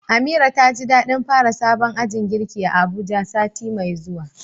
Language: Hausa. Amira taji dadin fara sabon ajin girki a Abuja sati mai zuwa.